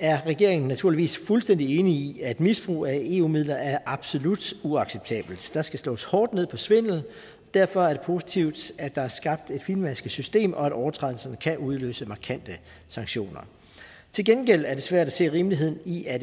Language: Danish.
er regeringen naturligvis fuldstændig enig i at misbrug af eu midler er absolut uacceptabelt der skal slås hårdt ned på svindel og derfor er det positivt at der er skabt et fintmasket system og at overtrædelser kan udløse markante sanktioner til gengæld er det svært at se rimeligheden i at